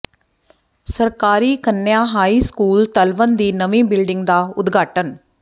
ਸਰਕਾਰੀ ਕੰਨਿਆ high school Talwan ਦੀ ਨਵੀਂ ਬਿਲਡਿੰਗ ਦਾ ਉਦਘਾਟਨ